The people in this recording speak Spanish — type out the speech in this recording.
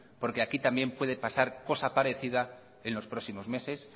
porque aquí también puede pasar cosa parecida en los próximos meses